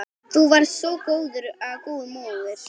Þú varst svo góð móðir.